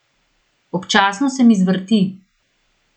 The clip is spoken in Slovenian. Občasno se mi zvrti.